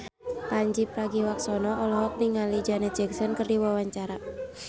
Pandji Pragiwaksono olohok ningali Janet Jackson keur diwawancara